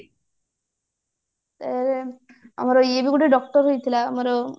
ଏଁ ଆମର ଇଏ ବି ଗୋଟେ doctor ହେଇଥିଲା ଆମର